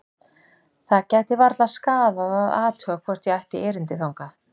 Það gæti varla skaðað að athuga hvort ég ætti erindi þangað.